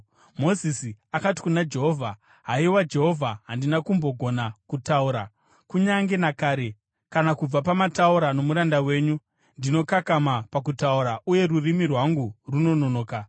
Mozisi akati kuna Jehovha, “Haiwa Jehovha, handina kumbogona kutaura, kunyange nakare, kana kubva pamataura nomuranda wenyu. Ndinokakama pakutaura uye rurimi rwangu runononoka.”